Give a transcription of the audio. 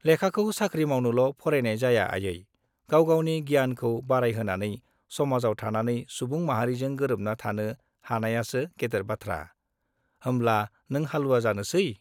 लेखाखौ साख्रि मावनोल' फरायनाय जाया आयै, गाव-गावनि गियानखौ बारायहोनानै समाजाव थानानै सुबुं माहारिजों गोरोबना थानो हानायासो गेदेर बाथ्रा। होमब्ला नों हालुवा जानोसै?